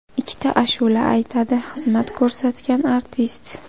Ikkita ashula aytadi xizmat ko‘rsatgan artist.